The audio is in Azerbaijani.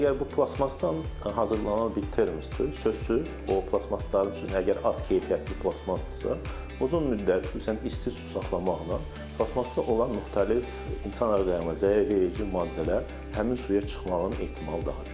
Əgər bu plastikdən hazırlanan bir termosdur, sözsüz o plastiklərin içində, əgər az keyfiyyətli plastikdirsə, uzun müddət, xüsusən isti su saxlamaqla, plastikdə olan müxtəlif insan orqanizminə zərər verici maddələr həmin suya çıxmağın ehtimalı daha çoxdur.